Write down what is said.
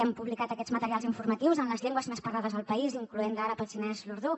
hem publicat aquests materials informatius en les llengües més parlades al país incloenthi l’àrab el xinès l’urdú